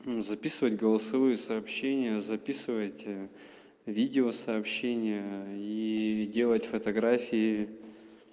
записывать голосовые сообщения записывать видеосообщения и делать фотографии